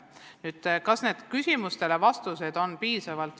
Nüüd, kas vastused küsimustele on olnud piisavad?